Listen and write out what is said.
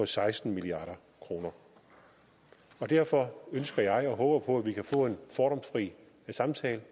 seksten milliard kroner derfor ønsker jeg og håber på at vi kan få en fordomsfri samtale